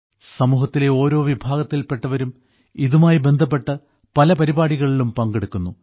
സമൂഹത്തിലെ ഓരോ വിഭാഗത്തിൽപ്പെട്ടവരും ഇതുമായി ബന്ധപ്പെട്ട് പല പരിപാടികളിലും പങ്കെടുക്കുന്നു